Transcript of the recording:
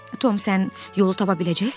Tom, sən yolu tapa biləcəksənmi?